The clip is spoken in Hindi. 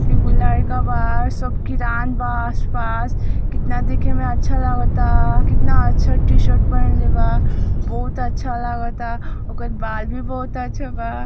ईगो लड़का बा सब किरान बा आस पास कितना देखे में अच्छा लागता कितना अच्छा टी शर्ट पहिनले बा बहुत अच्छा लागता ओकर बाजू बहुत अच्छा लागता |